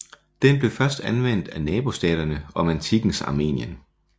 Den blev først anvendt af nabostaterne om antikkens Armenien